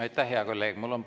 Aitäh, hea kolleeg!